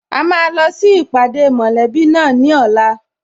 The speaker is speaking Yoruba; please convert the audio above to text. A máa lọ sí ìpàdé mọ̀lẹ́bí náà ní ọ̀la